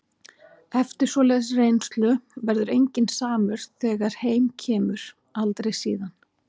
Eftir svoleiðis reynslu verður enginn samur þegar heim kemur- aldrei síðan.